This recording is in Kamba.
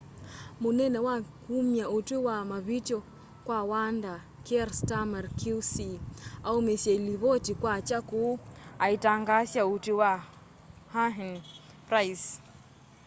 munene wa kumya utwi wa mavityo kwa wanda kier starmer qc aumisye livoti kwakya kuu aitangaasa utwi wa huhne na pryce